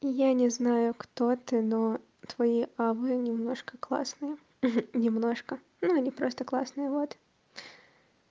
я не знаю кто ты но твои авы немножко классные немножко но они просто классные вот